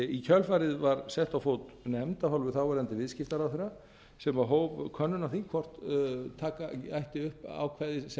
í kjölfarið var sett á fót nefnd af hálfu þáverandi viðskiptaráðherra sem hóf könnun á því hvort taka ætti upp ákvæði sem þessi